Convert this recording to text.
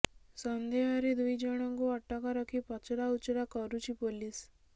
ସନ୍ଦେହରେ ଦୁଇ ଜଣଙ୍କୁ ଅଟକ ରଖି ପଚରାଉଚରା କରୁଛି ପୋଲିସ